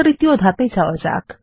তৃতীয় ধাপে যাওয়া যাক